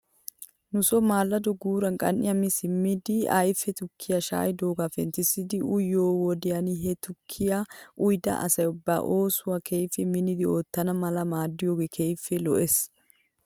Nuson maallado guura qan"iyaa mi simmidi ayfe tukkiyaa shaa'idoogaa penttissidi uyiyoo wodiyan he tukkiyaa uyida asay ba oosuwaa keehippe minnidi oottana mala maaddiyoogee keehippe lo'es.